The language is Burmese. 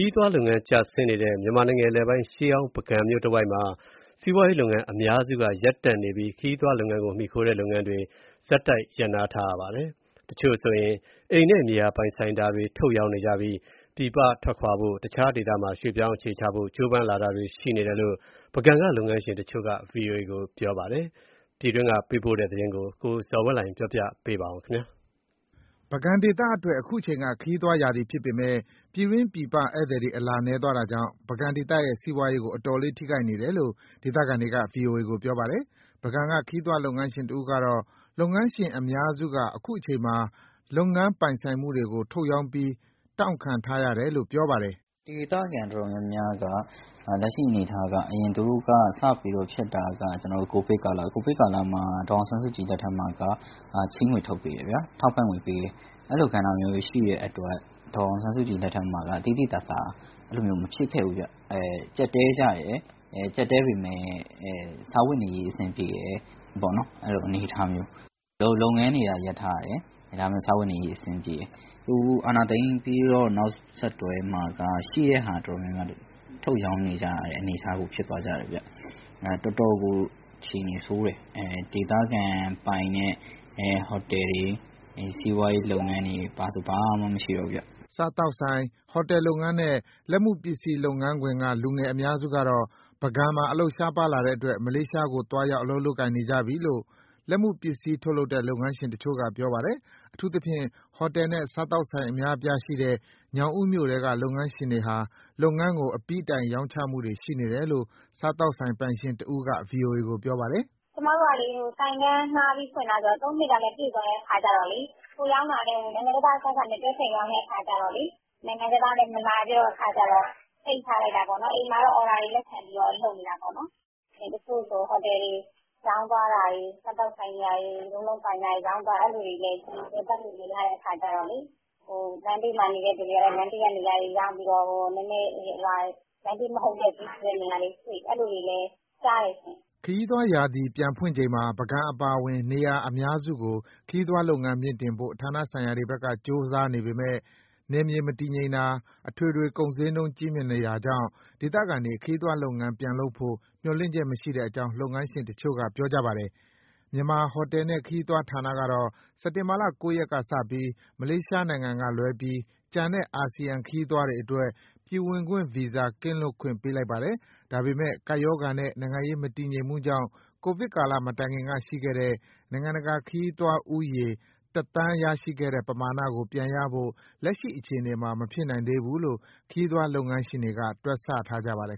ီးသွားလုပ်ငန်းကျဆင်းနေတဲ့ မြန်မာနိုင်ငံအလယ်ပိုင်း ရှေးဟောင်းပုဂံမြို့တဝိုက်မှာ စီးပွားရေးလုပ်ငန်းအများစုက ရပ်တန့်နေပြီး ခရီးသွားလုပ်ငန်းကို မှီခိုနေတဲ့ လုပ်ငန်းတွေ ဆက်တိုက် ရပ်နားထားရပါတယ်။ တချို့ဆိုရင် အိမ်နဲ့ မြေယာပိုင်ဆိုင်တာတွေကို ထုတ်ရောင်းနေကြပြီး ပြည်ပထွက်ခွာဖို့၊ တခြားဒေသမှာ ရွှေ့ပြောင်းအခြေချဖို့ ကြိုးပမ်းလာတာတွေ ရှိနေတယ်လို့ ပုဂံက လုပ်ငန်းရှင် တချို့က VOA ကို ပြောပါတယ်။ ပြည်တွင်းကပေးပို့တဲ့ ဒီသတင်းကို ကိုဇော်ဝင်းလှိုင်က ပြောပြမှာပါ။ ပုဂံဒေသအတွက် အခုအချိန်က ခရီးသွားရာသီဖြစ်ပေမဲ့ ပြည်တွင်း၊ ပြည်ပ ဧည့်သည် အလာနည်းသွားတာကြောင့် ပုဂံဒေသရဲ့စီးပွားရေးကို အတော်လေးထိခိုက်နေတယ်လို့ ဒေသခံတွေက ဗွီအိုအေကို ပြောပါတယ်။ ပုဂံက ခရီးသွားလုပ်ငန်းရှင်တဦးကတော့ လုပ်ငန်းရှင်အများစုက အခုအချိန်မှာ လုပ်ငန်းပိုင်ဆိုင်မှုတွေကို ထုတ်ရောင်းပြီး တောင့်ခံထားရတယ်လို့ ပြောပါတယ်။ "ဒေသခံတော်တော်များများက လက်ရှိအနေအထားက ကိုဗစ်ကာလမှာ ဒေါ်အောင်ဆန်းစုကြည်လက်ထက်မှာက ချေးငွေထုတ်ပေးတယ်ဗျာ၊ ထောက်ပံ့ငွေပေးတယ်၊ အဲဒီလိုကဏ္ဍမျိုးတွေ ရှိတဲ့အတွက် သိသိသာသာ အဲ့ဒီလို မဖြစ်ခဲ့ဘူးဗျ။ ကျပ်တည်းကြတယ် ကျပ်တည်းပေမဲ့ စားဝတ်နေရေး အဆင်ပြေတယ်ပေါ့နော်။ လုပ်ငန်းတွေက ရပ်ထားရတယ် ဒါပေမဲ့ စားဝတ်နေရေး အဆင်ပြေတယ်။ အခုအာဏာသိမ်းပြီးတော့ နောက်ဆက်တွဲမှာ ရှိတဲ့ဟာတော်တော်များများက ထုတ်ရောင်းကြတဲ့အနေအထားကို ဖြစ်သွားကြတယ်ဗျ။ တော်တော်ကို အခြေအနေဆိုးတယ်၊ ဒေသခံပိုင်တဲ့ ဟိုတယ်တွေ၊ စီးပွားရေးလုပ်ငန်းတွေ၊ ဘာဆိုဘာမှ မရှိတော့ဘူးဗျ။" စားသောက်ဆိုင်၊ ဟိုတယ်လုပ်ငန်းနဲ့ လက်မှုပစ္စည်းလုပ်ငန်းခွင်က လူငယ်အများစုကတော့ ပုဂံမှာ အလုပ်ရှားပါးလာတဲ့အတွက် မလေးရှားကိုသွားရောက် အလုပ်လုပ်ကိုင်နေကြပြီလို့ လက်မှုပစ္စည်းထုတ်လုပ်တဲ့ လုပ်ငန်းရှင်တချို့က ပြောပါတယ်။ အထူးသဖြင့် ဟိုတယ်နှင့် စားသောက်ဆိုင်အများအပြားရှိတဲ့ ညောင်ဦးမြို့ထဲက လုပ်ငန်းရှင်တွေဟာ လုပ်ငန်းကိုအပြီးတိုင် ရောင်းချမှုတွေရှိနေတယ်လို့ စားသောက်ဆိုင်ပိုင်ရှင်တဦးက ဗွီအိုအေကို ပြောပါတယ်။ "ကျမတို့က ဆိုင်ခန်းငှားပြီး ဖွင့်တာဆိုတော့ သုံးနှစ်ကလည်း ပြည့်သွားတဲ့အခါကျတော့လေ.. ကိုယ်ရောင်းတာလည်း နိုင်ငံခြားသားအစားအစာနဲ့ တွဲဖက်ရောင်းတဲ့အခါကျတော့ နိုင်ငံခြားသားလည်း မလာတဲ့အခါကျတော့ ပိတ်ထားလိုက်တာပေါ့နော်။ အိမ်မှာတော့ အော်ဒါတွေလက်ခံပြီး လုပ်နေတာပေါ့နော်။ တချို့ဆိုဟိုတယ်တွေ ရောင်းသွားတာတွေ၊ စားသောက်ဆိုင်တွေ ရောင်းတာတွေ၊ လည်ပတ်လို့မရတဲ့အခါကျတော့ လမ်း ဘေးမှာနေတဲ့သူတွေကလည်း လမ်းဘေးကနေရာတွေရောင်းပြီး လမ်းဘေးမဟုတ်တဲ့ လူစည်တဲ့နေရာတွေရွှေ့ အဲဒီလိုတွေလည်း ကြားတယ်ရှင့်။" အခုခရီးသွားရာသီပြန်ဖွင့်ချိန်မှာ ပုဂံအပါအဝင် နေရာအများစုကို ခရီးသွားလုပ်ငန်းမြှင့်တင်ဖို့ ဌာနဆိုင်ရာတွေဘက်က ကြိုးစားနေပေမဲ့ နယ်မြေမတည်ငြိမ်တာ၊ အထွေထွေ ကုန်ဈေးနှုန်း ကြီးမြင့်နေတာကြောင့် ဒေသခံတွေ ခရီးသွားလုပ်ငန်း ပြန်လုပ်ဖို့ မျှော်လင့်ချက်မရှိတဲ့အကြောင်း လုပ်ငန်းရှင်တချို့က ပြောပါတယ်။ မြန်မာ ဟိုတယ်နဲ့ခရီးသွား ဌာနကတော့ စက်တင်ဘာ ၉ ရက်ကစပြီး မလေးရှားနိုင်ငံကလွဲပြီး ကျန်တဲ့အာဆီယံ ခရီးသွားတွေအတွက် ပြည်ဝင်ခွင့်ဗီဇာကင်းလွတ်ခွင့် ပေးလိုက်ပါတယ်။ ဒါပေမဲ့ ကပ်ရောဂါနဲ့ နိုင်ငံရေး မတည်ငြိမ်မှုကြောင့် ကိုဗစ်ကာလမတိုင်ခင်ကရှိခဲ့တဲ့ နိုင်ငံတကာခရီးသွားဦးရေ ၁,၀၀၀,၀၀၀ ရရှိခဲ့တဲ့ပမာဏကို ပြန်ရဖို့ လက်ရှိအခြေအနေမှာ မဖြစ်နိုင်သေးဘူးလို့ ခရီးသွားလုပ်ငန်းရှင်တွေ တွက်ဆထားကြပါတယ်